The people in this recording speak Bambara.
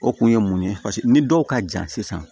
O kun ye mun ye paseke ni dɔw ka jan sisan